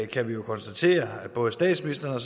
kan konstatere at både statsministeren